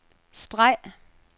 streg